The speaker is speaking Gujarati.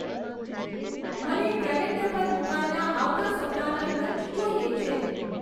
મને કેલેન્ડર પર મુકાયેલાં આવતા સપ્તાહના લંચ જોઈએ છે